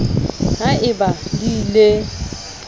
ha e ba di le